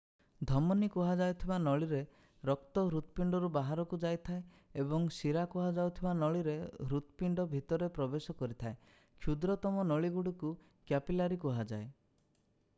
ଧମନୀ କୁହାଯାଉଥିବା ନଳୀରେ ରକ୍ତ ହୃତପିଣ୍ଡରୁ ବାହାରକୁ ଯାଇଥାଏ ଏବଂ ଶିରା କୁହାଯାଉଥିବା ନଳୀରେ ହୃତପିଣ୍ଡ ଭିତରେ ପ୍ରବେଶ କରିଥାଏ କ୍ଷୁଦ୍ରତମ ନଳୀଗୁଡ଼ିକୁ କ୍ୟାପିଲାରି କୁହାଯାଏ